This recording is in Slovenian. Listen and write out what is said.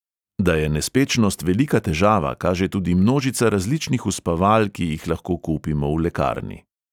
Da je nespečnost velika težava, kaže tudi množica različnih uspaval, ki jih lahko kupimo v lekarni.